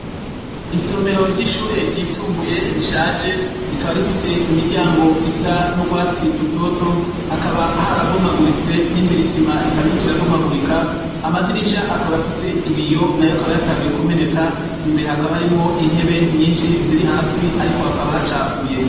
Isomero ry'ishure ryisumbuye rishaje. Rikaba rifise imiryango isa n'urwatsi rutoto. Hakaba harabomaguritse, n'imbere isima ikaba iriko irabomagurika. Amadirisha akaba afise ibiyo nayo akaba yatanguye kumeneka. Imbere hakaba harimwo intebe nyinshi ziri hasi, ariko hakaba hacafuye.